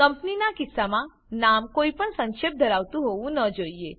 કંપનીનાં કિસ્સામાં નામ કોઈપણ સંક્ષેપ ધરાવતું હોવું ન જોઈએ